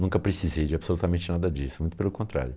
Nunca precisei de absolutamente nada disso, muito pelo contrário.